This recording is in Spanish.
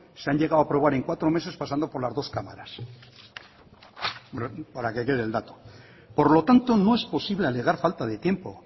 se han llegado a aprobar en cuatro meses pasando por las dos cámaras para que quede el dato por lo tanto no es posible alegar falta de tiempo